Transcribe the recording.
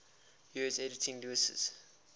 years editing lewes's